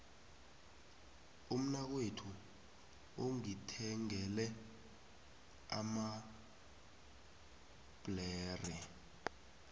umnakwethu ungithengele amabhlere